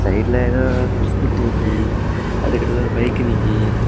சைடுல எதோ ஸ்கூட்டி நிக்கி அதுக்கடுத்தது பக்கத்துல பைக் நிக்கி.